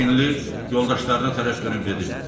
Çinli yoldaşlarına tərəf dönüb dedi: